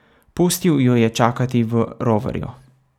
Pustil jo je čakati v roverju.